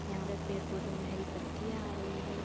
यहाँ पर पेड़ पौधों में हरी पत्तियां आ रही है।